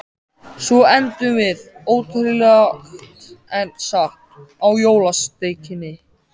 Svo endum við, ótrúlegt en satt, á jólasteikinni.